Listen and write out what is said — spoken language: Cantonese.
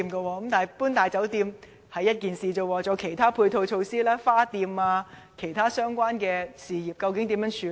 除了搬遷"大酒店"外，還有其他配套措施，例如花店等其他相關事業，究竟要怎樣處理？